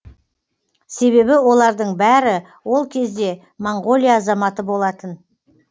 себебі олардың бәрі ол кезде моңғолия азаматы болатын